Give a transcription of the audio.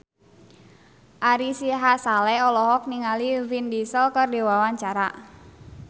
Ari Sihasale olohok ningali Vin Diesel keur diwawancara